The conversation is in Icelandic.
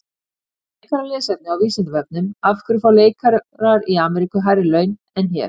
Frekara lesefni á Vísindavefnum: Af hverju fá leikarar í Ameríku hærri laun en hér?